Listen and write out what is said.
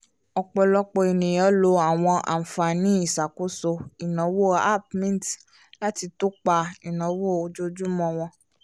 ọ̀pọ̀lọpọ̀ ènìyàn lo àwọn àǹfààní ìṣàkóso ináwó app mint láti tọ́pa ináwó ojoojúmọ́ wọ́n